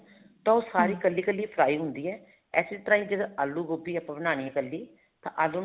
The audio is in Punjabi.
ਤਾਂ ਉਹ ਸਾਰੀ ਇੱਕਲੀ ਇੱਕਲੀ fry ਹੁੰਦੀ ਹੈ ਇਸੇ ਤਰ੍ਹਾਂ ਹੀ ਜਦ ਆਲੂ ਗੋਭੀ ਬਣਾਨੀ ਹੈ ਇੱਕਲੀ ਤਾਂ ਆਲੂ ਨੂੰ